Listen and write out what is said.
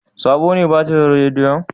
Sabo ne batirin rediyon?